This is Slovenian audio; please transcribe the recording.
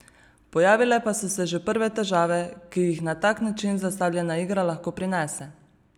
Pojavile pa so se že prve težave, ki jih na tak način zastavljena igra lahko prinese.